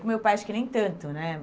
Com meu pai, acho que nem tanto, né?